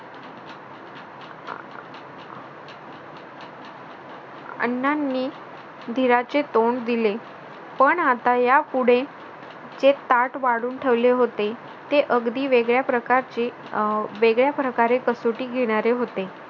अण्णांनी धीराचे तोंड दिले पण आता यापुढे जे ताट वाढून ठेवले होते ते अगदी वेगळ्या प्रकारचे अं वेगळ्या प्रकारे कसोटी घेणारे होते.